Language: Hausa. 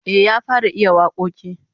Eh, ya fara iya wakoki